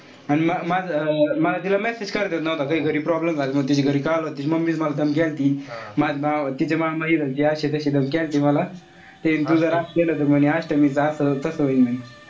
अन माझं मला तिला message करता नव्हता येत काई. घरी problem झाले म तिचे घरी कळालं होत. तिची mummy ची मला धमकी आलती. माझं भाव तिचा मामाहि द्यायचे अशे तशे धमक्या आणखी मला. ते तू जर असं केलं त अष्टमीच असं तस होईन म्हणे.